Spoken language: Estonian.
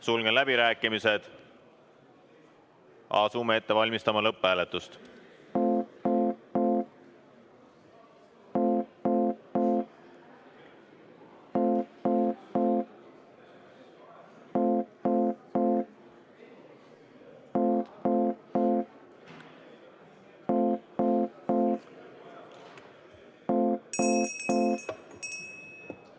Sulgen läbirääkimised ja asume ette valmistama lõpphääletust.